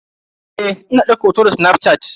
Eh ina daukar hoto da snafshat.